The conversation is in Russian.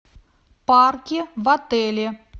парки в отеле